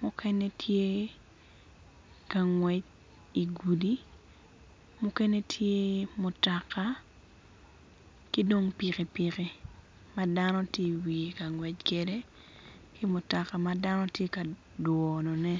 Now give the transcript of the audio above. mukene tye ka ngwec igudi mukene tye mutoka ki dong pikipiki ma dano tye iwiye ka ngwec kwede ki mutoka ma dano tye ka dwonone.